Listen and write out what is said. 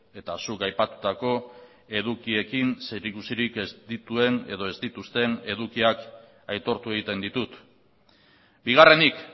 eta zuk aipatutako edukiekin zerikusirik ez dituen edo ez dituzten edukiak aitortu egiten ditut bigarrenik